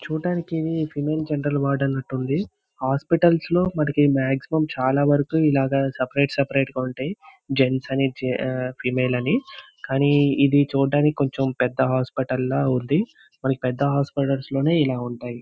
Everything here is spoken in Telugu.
చుడానికి ఇది ఫిమేల్ జనరల్ వార్డ్ అంటూ ఉంది. హాస్పిటల్స్ లో మనకి మాక్సిమం చాల వారికి ఇలాగ సెపరేట్-సెపరేట్ గా ఉంటాయి. జెంట్స్ అని ఆ ఫిమేల్ అని. కానీ ఇది చుడానికి పెద్ద హాస్పిటల్ లా ఉంది. మనకి పెద్ద హాస్పిటల్స్ లోనే ఇలా ఉంటాయి.